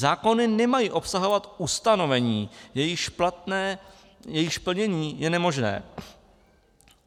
Zákony nemají obsahovat ustanovení, jejichž plnění je nemožné.